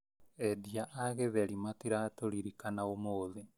Endia a githeri matiratũririkana ũmũthĩ